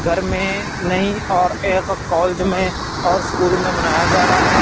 घर में नई और एक कॉलेज में और स्कूल में मनाया जा रहा है।